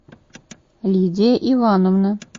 лидия ивановна